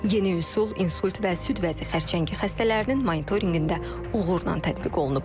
Yeni üsul insult və süd vəzi xərçəngi xəstələrinin monitorinqində uğurla tətbiq olunub.